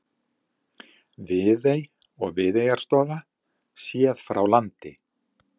Viðey og Viðeyjarstofa séð frá landi.